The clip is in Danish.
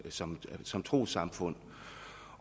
som som trossamfund